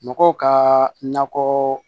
Mɔgɔw ka nakɔ